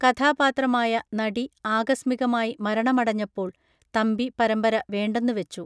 കഥാപാത്രമായ നടി ആകസ്മികമായി മരണമടഞ്ഞപ്പോൾ തമ്പി പരമ്പര വേണ്ടെന്നു വെച്ചു